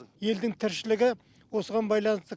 елдің тіршілігі осыған байланысты